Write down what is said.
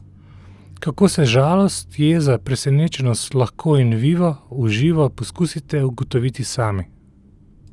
Kako se žalost, jeza, presenečenost, lahko in vivo, v živo, poskusite ugotoviti sami.